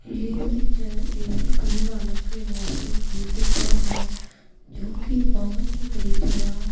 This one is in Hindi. ये पिक्चर एक गुरु नानक यूनिवर्सिटी की पिक्चर है जो कि बहुत ही बड़ी जगह--